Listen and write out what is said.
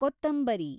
ಕೋತಂಬರಿ